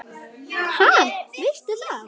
Ha, veistu það?